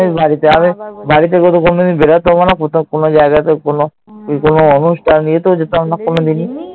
আমি বাড়ি থেকে তো কোনদিন বেরতাম ও না, কোথাও কোন জায়গাতেও কোন অনুষ্ঠান ইয়েতেও যেতাম না কোনোদিনই।